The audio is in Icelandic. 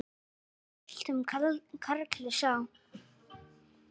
Bjargar höltum karli sá.